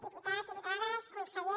diputats diputades conseller